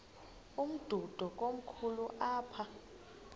umdudo komkhulu apha